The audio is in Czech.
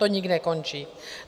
To nikdy nekončí.